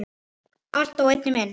Allt á einni mynd.